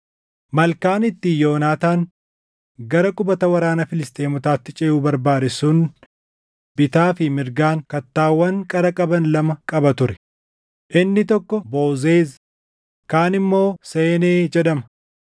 Malkaan ittiin Yoonaataan gara qubata waraana Filisxeemotaatti ceʼuu barbaade sun bitaa fi mirgaan kattaawwan qara qaban lama qaba ture; inni tokko Bozeezi, kaan immoo Seenee jedhama.